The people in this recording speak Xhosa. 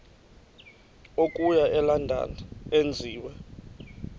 okuya elondon enziwe